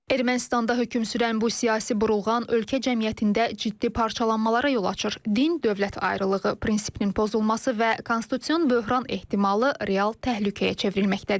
Ermənistanda hökm sürən bu siyasi burulğan ölkə cəmiyyətində ciddi parçalanmalara yol açır, din-dövlət ayrılığı prinsipinin pozulması və konstitutsion böhran ehtimalı real təhlükəyə çevrilməkdədir.